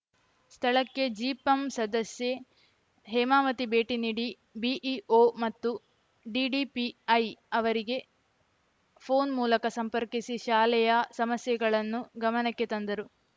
ಸ್ಥಳಕ್ಕೆ ಜಿಪಂ ಸದಸ್ಯೆ ಹೇಮಾವತಿ ಭೇಟಿ ನೀಡಿ ಬಿಇಓ ಮತ್ತು ಡಿಡಿಪಿಐ ಅವರಿಗೆ ಫೋನ್‌ ಮೂಲಕ ಸಂಪರ್ಕಿಸಿ ಶಾಲೆಯ ಸಮಸ್ಯೆಗಳನ್ನು ಗಮನಕ್ಕೆ ತಂದರು